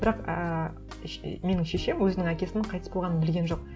бірақ ііі менің шешем өзінің әкесінің қайтыс болғанын білген жоқ